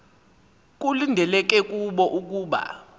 kulindeleke kubo ukuba